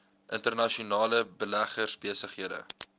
internasionale beleggers besighede